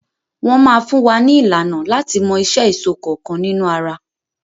Wọn máa fún wa ní ìlànà láti mọ iṣẹ́ èso kọọ́kan nínú ara.